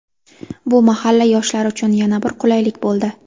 Bu mahalla yoshlari uchun yana bir qulaylik bo‘ldi.